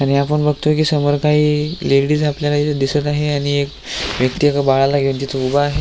आणि आपण बगतोय की समोर काही लेडीज आपल्याला इथ दिसत आहे आणि एक व्यक्ती एका बाळाला घेऊन तिथे उभा आहे.